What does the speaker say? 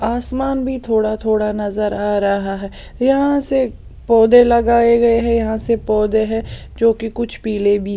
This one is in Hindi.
आसमान भी थोड़ा थोड़ा नजर आ रहा है यहां से पोधै लगाए गए हैं यहाँ सिर्फ पोधै हैं जोकी कुछ पिले भी --